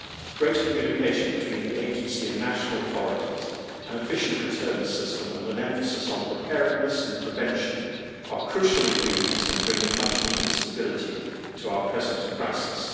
Greater communication between the agency and national authorities, an efficient returns system and an emphasis on preparedness and prevention are crucial ingredients in bringing much needed stability to our present crisis.